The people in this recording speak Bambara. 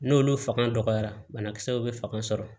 N'olu fanga dɔgɔyara banakisɛw bɛ fanga sɔrɔ